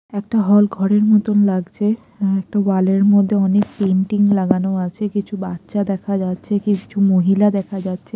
একটা হল ঘরের মতন লাগছে অ্যা একটা ওয়াল -এর মধ্যে অনেক পেইন্টিং লাগানো আছে কিছু বাচ্চা দেখা যাচ্ছে কিছু মহিলা দেখা যাচ্ছে।